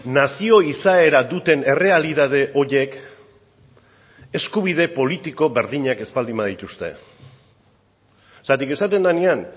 nazio izaera duten errealitate horiek eskubide politiko berdinak ez baldin badituzte zergatik esaten denean